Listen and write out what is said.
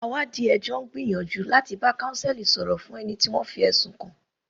Àwáàdí ẹjọ́ ń gbìyànjú láti bá counsel sọ̀rọ̀ fún ẹni tí a fi ẹ̀sùn kàn.